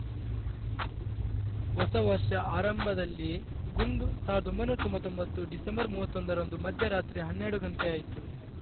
ಹೊಸವರ್ಷ ಆರಂಭದಲ್ಲಿಯೇ ಗುಂಡು ಸಾವಿರದ ಒಂಬೈನೂರ ತೊಂಬತೊಂಬತ್ತು ಡಿಸೆಂಬರ್ ಮೂವತ್ತೊಂದರಂದು ಮಧ್ಯರಾತ್ರಿ ಹನ್ನೆರಡು ಗಂಟೆಯಾಯಿತ್ತು